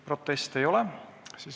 Proteste ei ole.